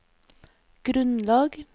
grunnlag